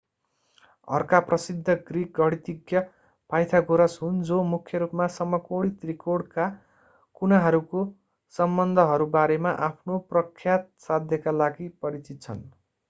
अर्का प्रसिद्ध ग्रिक गणितज्ञ pythagoras हुन्‌ जो मूख्य रूपमा समकोणी त्रिकोणका कुनाहरूको सम्बन्धहरू बारेमा आफ्नो प्रख्यात साध्यका लागि परिचित छन्।